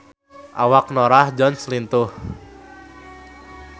Awak Norah Jones lintuh